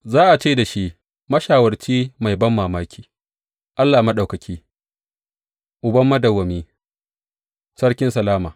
Za a ce da shi Mashawarci Mai Banmamaki, Allah Maɗaukaki Uban Madawwami, Sarkin Salama.